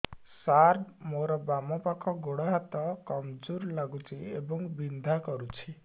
ସାର ମୋର ବାମ ପାଖ ଗୋଡ ହାତ କମଜୁର ଲାଗୁଛି ଏବଂ ବିନ୍ଧା କରୁଛି